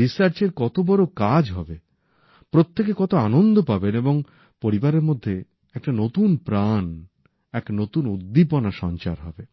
রিসার্চের কত বড় কাজ হবে প্রত্যেকে কত আনন্দ পাবেন এবং পরিবারের মধ্যে এক নতুন প্রাণ এক নতুন উদ্দীপনা সঞ্চার হবে